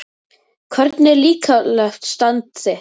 Hvernig er líkamlegt stand þitt?